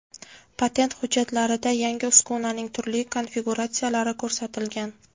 Patent hujjatlarida yangi uskunaning turli konfiguratsiyalari ko‘rsatilgan.